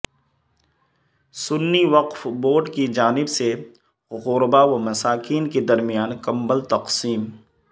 سنی وقف بورڈ کی جانب سے غربا و مساکین کے درمیان کمبل تقسیم